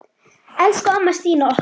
Elsku amma Stína okkar.